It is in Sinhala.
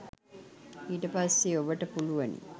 ඊට පස්සේ ඔබට පුළුවනි